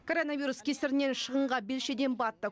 коронавирус кесірінен шығынға белшеден батттық